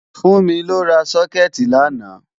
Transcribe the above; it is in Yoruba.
Fúnmi lọ ra sókẹ̀tì làná